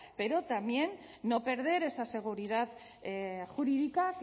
pero también no perder esa seguridad jurídica